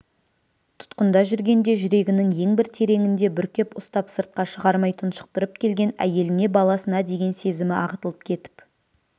тұтқында жүргенде жүрегінің ең бір тереңінде бүркеп ұстап сыртқа шығармай тұншықтырып келген әйеліне баласына деген сезімі ағытылып кетіп